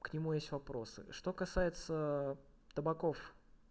к нему есть вопросы что касается табаков